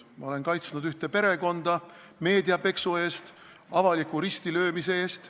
Ma olen kaitsnud ühte perekonda meedia peksu eest, avaliku ristilöömise eest.